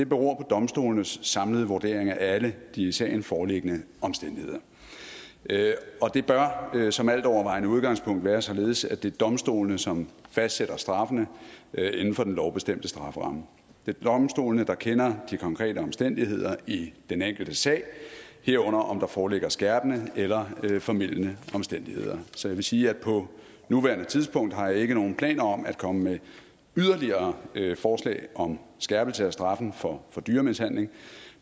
beror på domstolenes samlede vurdering af alle de i sagen foreliggende omstændigheder og det bør som altovervejende udgangspunkt være således at det er domstolene som fastsætter straffene inden for den lovbestemte strafferamme det er domstolene der kender de konkrete omstændigheder i den enkelte sag herunder om der foreligger skærpende eller formildende omstændigheder så jeg vil sige at på nuværende tidspunkt har jeg ikke nogen planer om at komme med yderligere forslag om skærpelse af straffen for dyremishandling